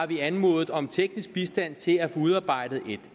vi har anmodet om teknisk bistand til at få udarbejdet et